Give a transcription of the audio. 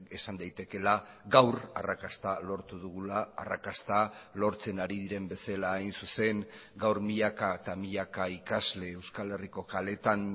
esan daitekeela gaur arrakasta lortu dugula arrakasta lortzen ari diren bezala hain zuzen gaur milaka eta milaka ikasle euskal herriko kaleetan